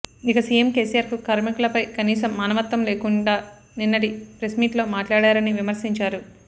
ఇక సీఎం కేసీఆర్కు కార్మికులపై కనీసం మానవత్వం లేకుండా నిన్నటి ప్రెస్మీట్లో మాట్లాడరని విమర్శించారు